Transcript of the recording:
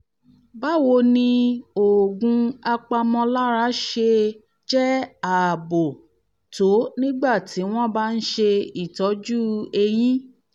báwo ni ni oògùn apàmọ̀lára ṣe jẹ́ ààbò tó nígbà tí wọ́n bá ń ṣe ìtọ́jú eyín?